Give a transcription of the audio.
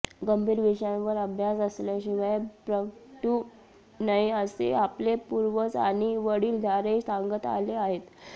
गंभीर विषयांवर अभ्यास असल्याशिवाय प्रगटू नये असे आपले पूर्वज आणि वडीलधारे सांगत आले आहेत